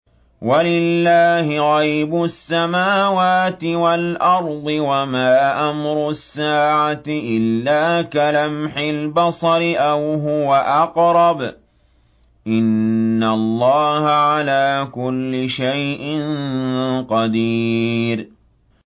وَلِلَّهِ غَيْبُ السَّمَاوَاتِ وَالْأَرْضِ ۚ وَمَا أَمْرُ السَّاعَةِ إِلَّا كَلَمْحِ الْبَصَرِ أَوْ هُوَ أَقْرَبُ ۚ إِنَّ اللَّهَ عَلَىٰ كُلِّ شَيْءٍ قَدِيرٌ